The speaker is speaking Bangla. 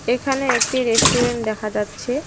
এখানে একটি রেস্টুরেন্ট দেখা যাচ্ছে।